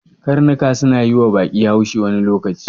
Karnuka suna yiwa baƙi haushi wani lokaci.